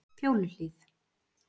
Fjóluhlíð